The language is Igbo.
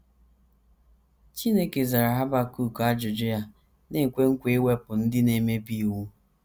Chineke zara Habakuk ajụjụ ya, na - ekwe nkwa iwepụ “ ndị na - emebi iwu. ”